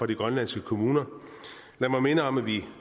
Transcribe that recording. de grønlandske kommuner lad mig minde om at vi